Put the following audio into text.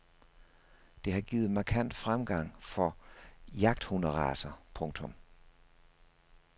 Det har givet markant fremgang for jagthunderacer. punktum